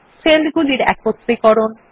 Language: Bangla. সেলগুলির একত্রীকরণ